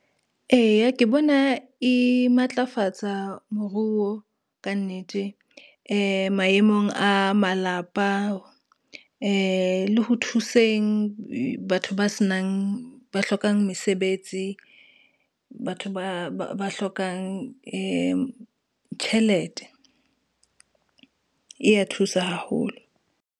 Eya, ke bona e matlafatsa moruo, ka nnete maemong a malapa, le ho thuseng batho ba hlokang mesebetsi, batho ba hlokang tjhelete, e ya thusa haholo.